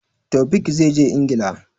Taofiq zai je Ingila.